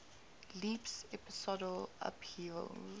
leaps episodal upheavals